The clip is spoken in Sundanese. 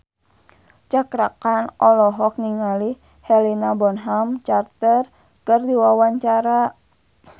Cakra Khan olohok ningali Helena Bonham Carter keur diwawancara